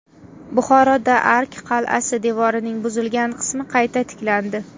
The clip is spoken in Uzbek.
Buxoroda Ark qal’asi devorining buzilgan qismi qayta tiklandi.